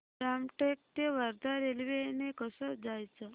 रामटेक ते वर्धा रेल्वे ने कसं जायचं